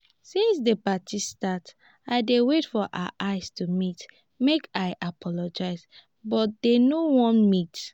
since the party start i dey wait for our eye to meet make i apologize but dey no wan meet